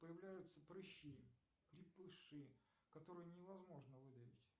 появляются прыщи крепыши которые невозможно выдавить